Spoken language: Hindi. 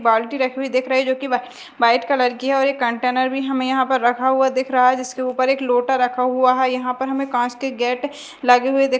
बाल्टी रखी हुई दिख रही है जोकि वा वाइट कलर की है और एक कंटेनर भी हमें यहाँ पर रखा हुआ दिख रहा है जिसके ऊपर एक लोटा रखा हुआ है यहाँ पर हमें कांच के गेट लगे हुए दि --